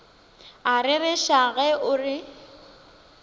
a rereša ge o re